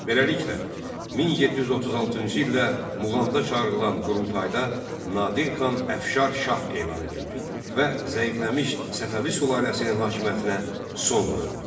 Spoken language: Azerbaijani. Beləliklə, 1736-cı ildə Muğanda çağırılan qurultayda Nadir xan Əfşar şah elan edildi və zəifləmiş Səfəvi sülaləsinin hakimiyyətinə son qoyuldu.